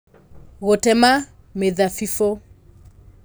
Gũtema Mĩthabibũ